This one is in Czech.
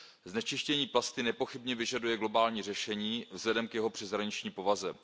Znečištění plasty nepochybně vyžaduje globální řešení vzhledem k jeho přeshraniční povaze.